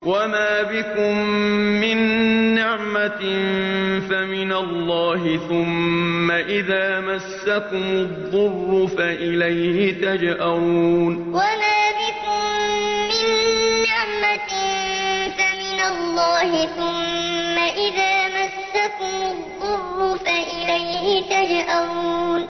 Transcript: وَمَا بِكُم مِّن نِّعْمَةٍ فَمِنَ اللَّهِ ۖ ثُمَّ إِذَا مَسَّكُمُ الضُّرُّ فَإِلَيْهِ تَجْأَرُونَ وَمَا بِكُم مِّن نِّعْمَةٍ فَمِنَ اللَّهِ ۖ ثُمَّ إِذَا مَسَّكُمُ الضُّرُّ فَإِلَيْهِ تَجْأَرُونَ